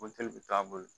Moteli bɛ to a bolo